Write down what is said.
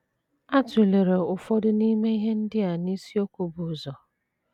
A tụlere ụfọdụ n’ime ihe ndị a n’isiokwu bu ụzọ.